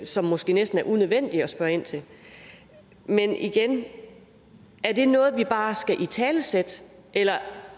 som måske næsten er unødvendigt at spørge ind til men igen er det noget vi bare skal italesætte eller